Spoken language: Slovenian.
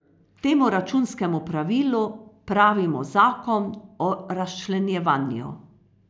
Temu računskemu pravilu pravimo zakon o razčlenjevanju.